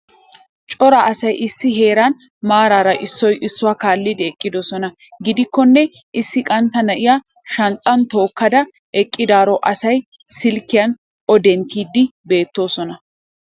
Cora asay issi heeran maraara issoy issuwa kaallidi eqqidosona. Gidikkonne issi qantta na'iya shanxxan tookkada eqqidaaro asay silkkiyan o denttidi beettoosona.